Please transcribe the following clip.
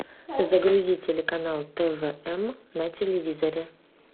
загрузи телеканал твм на телевизоре